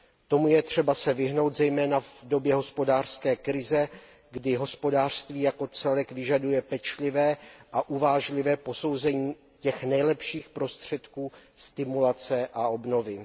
Tomu je třeba se vyhnout zejména v době hospodářské krize, kdy hospodářství jako celek vyžaduje pečlivé a uvážlivé posouzení těch nejlepších prostředků stimulace a obnovy.